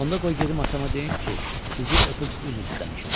Onda qoy gedim atama deyim ki, sizi öpüb üzr istəmişəm.